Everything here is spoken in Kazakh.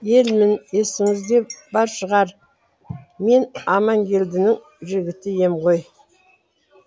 елмін есіңізде бар шығар мен аманкелдінің жігіті ем ғой